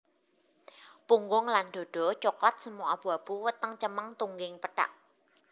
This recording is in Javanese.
Punggung lan dhadha coklat semu abu abu weteng cemeng tungging pethak